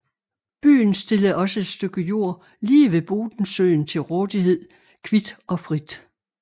Byen stillede også et stykke jord lige ved Bodensøen til rådighed kvit og frit